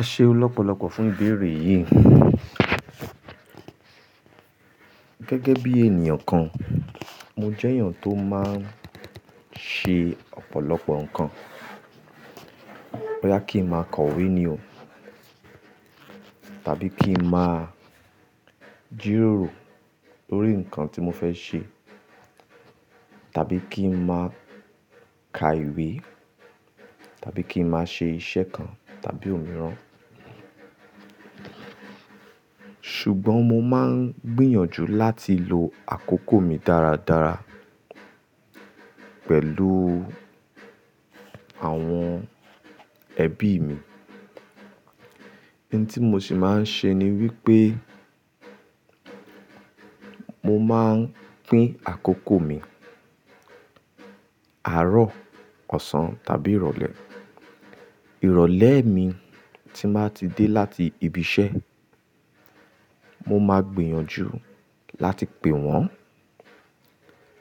Ẹ ṣe ọ lọ́pọ̀lọ́pọ̀ fún ìbéèrè yìí. Gẹ́gẹ́ bí ènìyàn kan, mo jẹ́ èèyàn tó máa ń ṣe ọ̀pọ̀lọpọ̀ nǹkan. Bọyà kí n máa kọ ìwé ni o. Tàbí kí n máa jìròrò lórí nǹkan tí mo fẹ́ ṣe. Tàbí kí n máa ka ìwé. Tàbí kí n máa ṣe iṣẹ́ kan tàbí òmíràn. Ṣùgbọ́n mo máa ń gbìyànjú láti lo àkókò mi dáradára pẹ̀lú àwọn ẹbí mi. Ohun tí mo sì máa ń ṣe ni wípé mo máa ń pín àkókò mi àárọ̀, ọ̀sán tàbí ìrọ̀lẹ́. Ìrọ̀lẹ́ mi tí màá ti dé láti ibi iṣẹ́, mo máa gbìyànjú láti pè wọ́n,